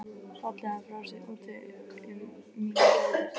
Falli hann frá er úti um mína gæfu.